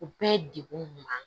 U bɛɛ ye degun ɲuman ye